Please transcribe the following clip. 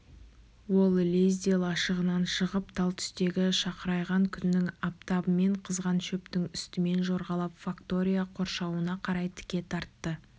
ол лезде лашығынан шығып тал түстегі шақырайған күннің аптабымен қызған шөптің үстімен жорғалап фактория қоршауына қарай тіке тартты